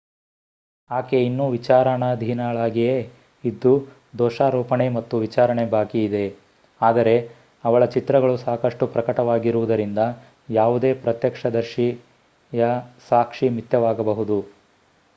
ಆಕೆ ಇನ್ನೂ ವಿಚಾರಣಾಧೀನಳಾಗಿಯೇ ಇದ್ದು ದೋಷಾರೋಪಣೆ ಮತ್ತು ವಿಚಾರಣೆ ಬಾಕಿ ಇದೆ ಆದರೆ ಅವಳ ಚಿತ್ರಗಳು ಸಾಕಷ್ಟು ಪ್ರಕಟವಾಗಿರವುದರಿಂದ ಯಾವುದೇ ಪ್ರತ್ಯಕ್ಷದರ್ಶಿಯ ಸಾಕ್ಷಿ ಮಿಥ್ಯವಾಗಬಹುದು